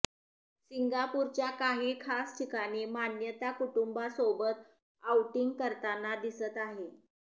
सिंगापूरच्या काही खास ठिकाणी मान्यता कुटुंबासोबत आउटिंग करताना दिसत आहे